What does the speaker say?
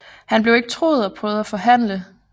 Han blev ikke troet og prøvede at forhandle